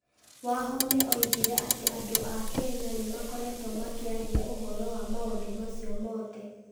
Wahome oigire atĩ andũ a Kenya nĩ makoretwo makĩaria ũhoro wa maũndũ macio mothe